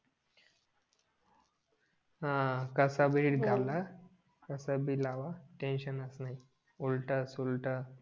हां कसं वेळ घाला कसं भी लावा उलट सुलट